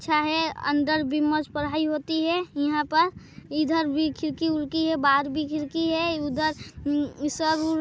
अच्छा हे अंदर भी मस्त पढ़ाई होती हे यहाँ पर इधर भी खिड़की उडकी हैं बाहर भी खिड़की हैंउधर सब --